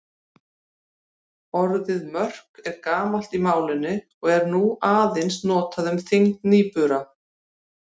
Orðið mörk er gamalt í málinu en er nú aðeins notað um þyngd nýbura.